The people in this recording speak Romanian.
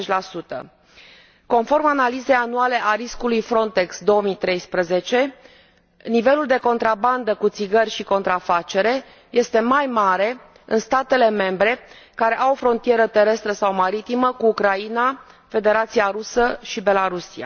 90. Conform analizei anuale a riscului Frontex 2013, nivelul de contrabandă cu țigări și contrafacere este mai mare în statele membre care au frontieră terestră sau maritimă cu Ucraina, Federația Rusă și Belarus.